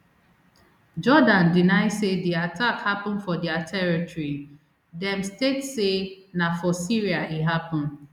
jordan deny say di attack happun for dia territory dem state say na for syria e happun